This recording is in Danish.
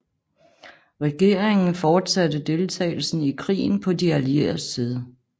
Regeringen fortsatte deltagelsen i krigen på de allieredes side